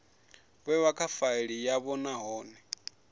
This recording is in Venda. vhewa kha faili yavho nahone